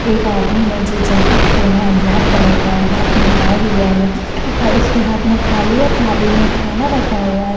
एक आदमी ने जो जैकेट पहना है ब्लैक कलर का और हाथ में बैग लिया है और उसके हाथ में थाली है थाली में खाना रहा हुआ है।